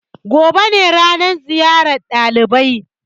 Gobe ne ranan ziyar ɗalibai.